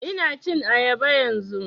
Ina cin ayaba yanzun